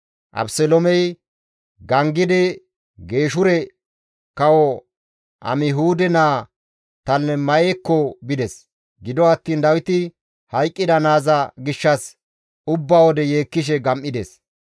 Abeseloomey gangidi Geeshure kawo Amihuude naa Talimayekko bides; gido attiin Dawiti hayqqida naaza gishshas ubba wode yeekkishe gam7ides.